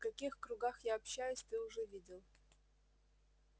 в каких кругах я общаюсь ты уже видел